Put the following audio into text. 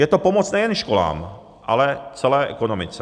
Je to pomoc nejen školám, ale celé ekonomice.